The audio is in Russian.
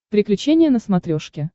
приключения на смотрешке